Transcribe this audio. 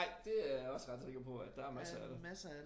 Nej det er jeg også ret sikker på at der er masser af det